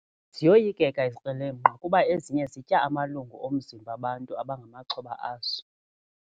Ziyoyikeka izikrelemnqa kuba ezinye zitya amalungu omzimba abantu abangamaxhoba azo.